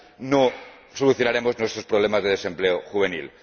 no solucionaremos nuestros problemas de desempleo juvenil.